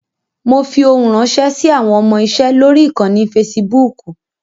Mo fi ohun ránṣẹ́ sí àwọn ọmọ-iṣe lórí ìkànnì Fasibúùkù.